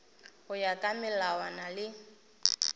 go ya ka melawana le